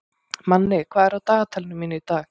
Manni, hvað er á dagatalinu mínu í dag?